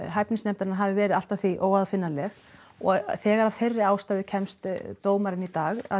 hæfnisnefndarinnar hafi verið allt að því óaðfinnanleg þegar að þeirri ástæðu kemst dómarinn í dag að